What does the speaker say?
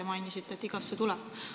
Te mainisite, et igasse tuleb.